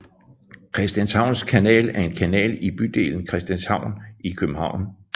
Christianshavns Kanal er en kanal i bydelen Christianshavn i København